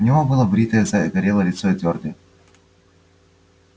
у него было бритое загорелое лицо и твёрдое